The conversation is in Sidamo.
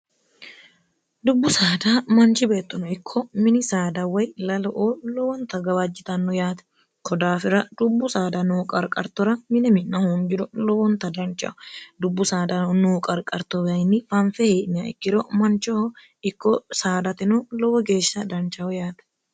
dubbu saada manchi beettono ikko mini saada way lalo oo lowonta gawaajjitanno yaate kodaafira dubbu saada noo qarqartora minimi'na hoonjiro lowonta danchaho dubbu saada noo qarqarto wainni fanfe hii'nia ikkiro manchoho ikko saadatino lowo geeshsha danchahu yaate